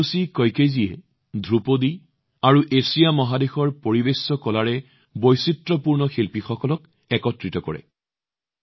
Hiroshi কইকেজীয়ে ধ্ৰুপদী আৰু পৰম্পৰাগত এছিয়ান প্ৰদৰ্শন কলাৰ বৈচিত্ৰ্যপূৰ্ণ পৃষ্ঠভূমি থকা শিল্পীসকলক একত্ৰিত কৰে